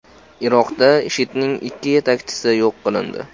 Iroqda IShIDning ikki yetakchisi yo‘q qilindi.